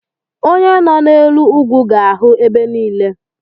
Onye nọ n'elu ugwu ga-ahụ ebe niile